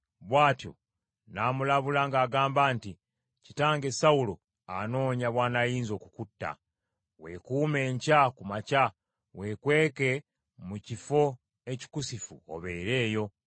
bw’atyo n’amulabula ng’agamba nti, “Kitange Sawulo anoonya bw’anaayinza okukutta. Weekuume enkya ku makya, weekweke mu kifo ekikusifu obeere eyo.